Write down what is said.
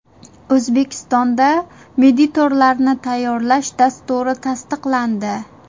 O‘zbekistonda mediatorlarni tayyorlash dasturi tasdiqlandi.